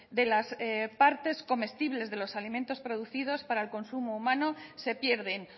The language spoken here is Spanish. de las partes comestibles de los alimentos producidos para el consumo humano se pierden